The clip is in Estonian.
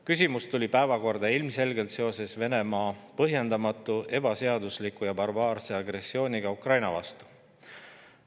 Küsimus tuli päevakorda ilmselgelt seoses Venemaa põhjendamatu, ebaseadusliku ja barbaarse agressiooniga Ukraina vastu.